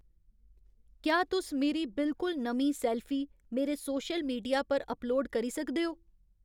क्या तुस मेरी बिलकुल नमीं सैल्फी मेरे सौशल मीडिया पर अपलोड करी सकदे ओ